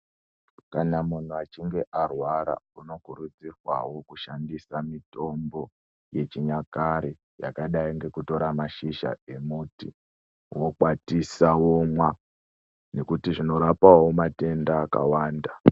Kana munhu achinge arwara, unokurudzirwawo kushandisa mitombo yechinyakare, yakadi ngekutora mashizha emuti, wokwatisa womwa nokuti zvinorapawo matenda akawanda.